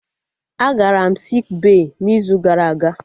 Agara m sik bey n'izu gara aga